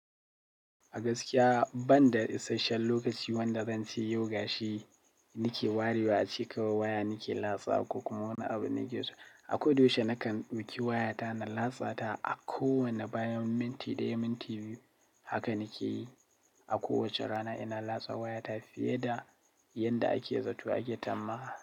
A gaskiya banda isashen lokaci wanda zan ci yau gashi nike wariwa a ce kawai waya nike latsawa ko kuma wani abu nake so. A koda yaushe nakan ɗauki waya ta na latsa ta a kowane bayan minti ɗaya, minti biyu haka nake yi. A kowace rana ina latsa waya ta fiye da yanda ake zato ake ta ma.